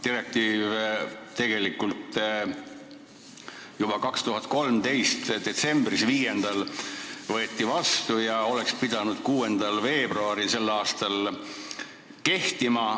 Direktiiv võeti vastu juba 2013. aasta 5. detsembril ja oleks pidanud vähemalt tänavu 6. veebruaril kehtima.